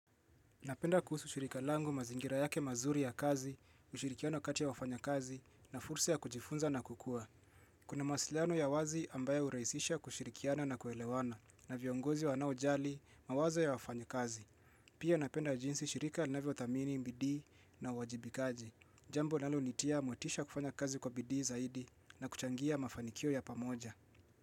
Napenda kuhusu shirika langu mazingira yake mazuri ya kazi, ushirikiano kati ya wafanyakazi na fursa ya kujifunza na kukua. Kuna mawasiliano ya wazi ambayo hurahisisha kushirikiana na kuelewana na viongozi wanaojali mawazo ya wafanya kazi. Pia napenda jinsi shirika linavyothamini bidii na uwajibikaji. Jambo linalonitia motisha wa kufanya kazi kwa bidii zaidi na kuchangia mafanikio ya pamoja.